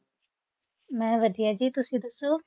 ਮੈਂ ਵਧੀਆ ਜੀ ਤੁਸੀਂ ਦੱਸੋ।